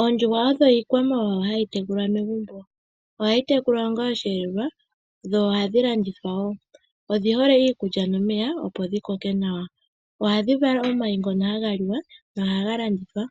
Oondjuhwa odho iikwamawawa hayi tekulwa megumbo. Ohayi tekulwa onga osheelelwa, dho ohadhi landithwa wo. Odhi hole iikulya nomeya, opo dhi koke nawa. Ohadhi vala omayi ngono haga liwa nohaga landithwa.